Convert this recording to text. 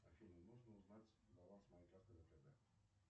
афина можно узнать баланс моей карты втб